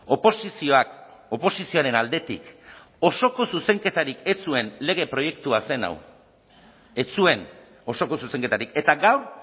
oposizioak oposizioaren aldetik osoko zuzenketarik ez zuen lege proiektua zen hau ez zuen osoko zuzenketarik eta gaur